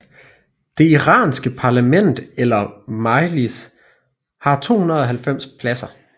Det iranske parlament eller Majlis har 290 pladser